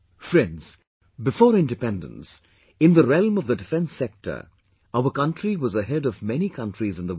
Friends, before independence, in the realm of the defence sector, our country was ahead of many countries in the world